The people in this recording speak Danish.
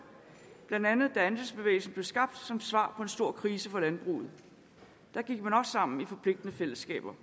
blandt andet da andelsbevægelsen blev skabt som svar på en stor krise for landbruget der gik man også sammen i forpligtende fællesskaber